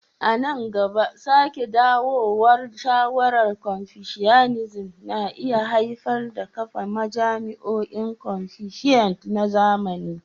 A nan gaba, sake dawowar sha'awar Confucianism na iya haifar da kafa majami'un Confucian na zamani.